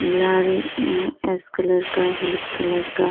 लाल अ ash colour का हल्क कलर का --